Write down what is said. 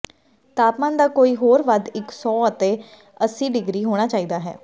ਤਾਪਮਾਨ ਦਾ ਕੋਈ ਹੋਰ ਵੱਧ ਇੱਕ ਸੌ ਅਤੇ ਅੱਸੀ ਡਿਗਰੀ ਹੋਣਾ ਚਾਹੀਦਾ ਹੈ